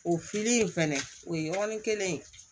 O fili in fɛnɛ o ye yɔrɔnin kelen